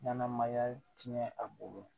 Ɲanamaya tiɲɛ a bolo